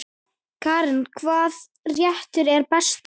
Karen: Hvaða réttur er bestur?